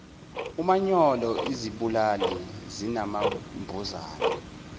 umanyolo izibulali zinambuzane